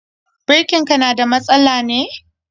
Birkin ka na da matsala ne?